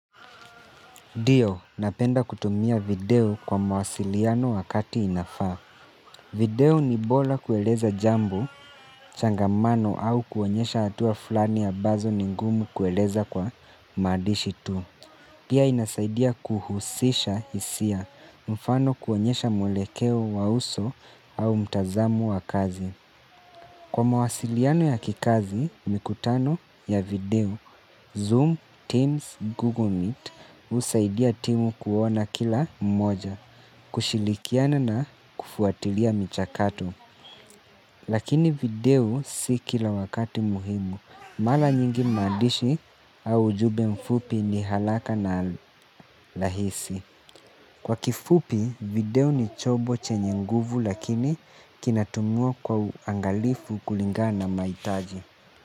Ndiyo, napenda kutumia video kwa mawasiliano wakati inafaa. Video ni bola kueleza jambu, changamano au kuonyesha atua flani abazo ni ngumu kueleza kwa maadishi tu. Pia inasaidia kuhusisha isia mfano kuonyesha mwelekeo wa uso au mtazamu wa kazi. Kwa mawasiliano ya kikazi mikutano ya video, Zoom, Teams, Google Meet usaidia timu kuona kila mmoja, kushilikiana na kufuatilia michakatu. Lakini video si kila wakati muhimu, mala nyingi maadishi au ujube mfupi ni halaka na lahisi. Kwa kifupi, video ni chobo chenye nguvu lakini kinatumiwa kwa uangalifu kulingana maitaji.